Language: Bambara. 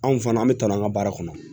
Anw fana an bɛ tɔnɔ an ka baara kɔnɔ